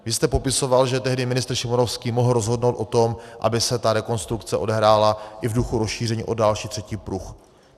Vy jste popisoval, že tehdy ministr Šimonovský mohl rozhodnout o tom, aby se ta rekonstrukce odehrála i v duchu rozšíření o další, třetí pruh.